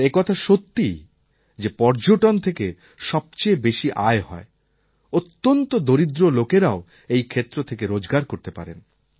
আর একথা সত্যি যে পর্যটন থেকে সবচেয়ে বেশি আয় হয় অত্যন্ত দরিদ্র লোকেরাও এই ক্ষেত্র থেকে রোজগার করতে পারেন